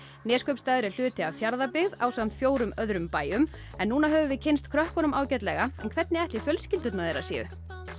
Neskaupstaður er hluti af Fjarðabyggð ásamt fjórum öðrum bæjum núna höfum við kynnst krökkunum ágætlega en hvernig ætli fjölskyldur þeirra séu